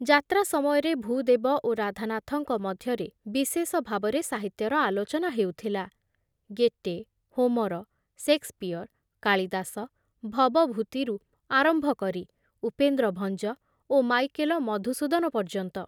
ଯାତ୍ରା ସମୟରେ ଭୂଦେବ ଓ ରାଧାନାଥଙ୍କ ମଧ୍ୟରେ ବିଶେଷ ଭାବରେ ସାହିତ୍ୟର ଆଲୋଚନା ହେଉଥିଲା, ଗେଟେ, ହୋମର, ଶେକ୍ସପିଅର, କାଳିଦାସ, ଭବଭୂତିରୁ ଆରମ୍ଭ କରି ଉପେନ୍ଦ୍ର ଭଞ୍ଜ ଓ ମାଇକେଲ ମଧୁସୂଦନ ପର୍ଯ୍ୟନ୍ତ।